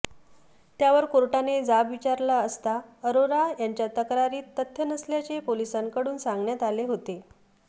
त्यावर कोर्टाने जाब विचारला असता अरोरा यांच्या तक्रारीत तथ्य नसल्याचे पोलिसांकडून सांगण्यात आले होते